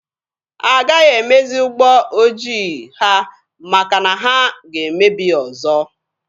Agaghị emezi ụgbọ ojii ha maka na ha ga-emebi ya ọzọ.